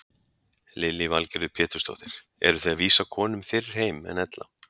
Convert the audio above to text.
Lillý Valgerður Pétursdóttir: Eruð þið að vísa konum fyrr heim en ella?